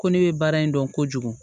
Ko ne bɛ baara in dɔn kojugu